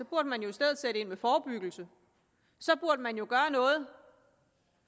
burde man jo i stedet sætte ind med forebyggelse så burde man gøre noget